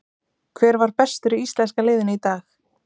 Hver var bestur í íslenska liðinu í dag?